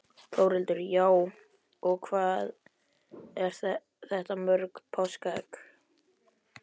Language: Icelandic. Þórhildur: Já, og hvað eru þetta mörg páskaegg?